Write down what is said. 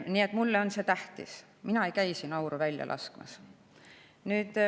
Nii et mulle on see tähtis, mina ei käi siin auru välja laskmas.